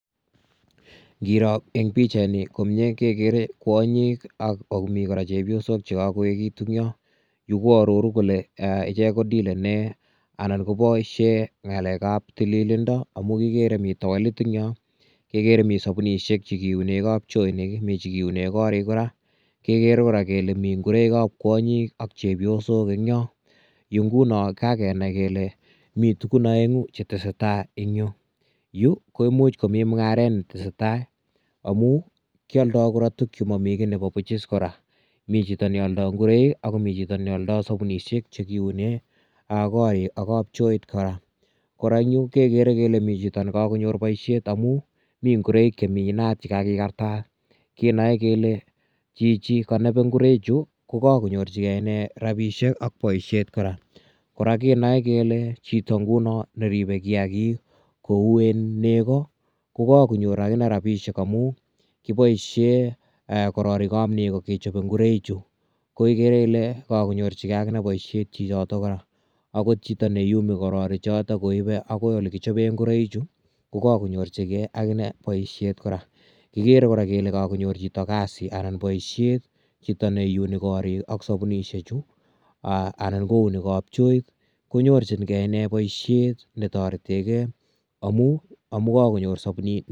Ngoroo eng pichaini komie kegere kwonyik ak komi kora chepyosok che kagoegitu yon. Yu ko aroru kole ichek ko dilene anan koboisie ngalekab tililindo amu kigere mi towelit eng yo, kegere mi sapunisiek che kiune kapchoinik. Mi che kiune korik kora. Kegere kora kele mingoroikab kwonyik ak chepyosok eng yo. Nguno kagenai kele mi tugun aengu chetesetai eng yo. Yu koimuch komi mungaret ne tesetai amu kialdo kora tuk chemami kiy nebo buch is kora. Mi chito ne aldo ingoroik ak komi chito ne aldo sapunisiek che kiune ko ak kapchoit kora. Kora yu kegere komi chito ne kagonyor boisiet amu mi ngoroik chemi inat che kagigartat. Kenoe kele, chichi kanobe ingoraichu, ko kagonyorchige inne rapisiek ak boisiet kora. Kora kenoe kele chito nguno neribe kiagik kouen nego, ko kakonyor agine rapisiek amu kiboisie kororikab nego kechobe ingoraichu. Ko igere ile kagonyorchige agine boisiet chichoto kora. Agot chito ne iyumi korori choto koipe agoi, olekichoben ingoroi chu, ko kakonyorchigei agine boisiet kora. Kigere kora kele kagonyor chito kasi anan boisiet, chito ne iyuni korik ak sapunusie chu anan kouni kapchoik konyorchinge inne boisiet ne toretige amu kakonyor sabunit.